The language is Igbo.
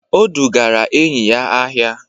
O dugara enyi ya ahịa.